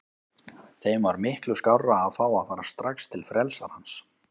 Þeim var miklu skárra að fá að fara strax til frelsarans.